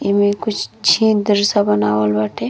एमे कुछ छेह दृश्य बनावल बाटे।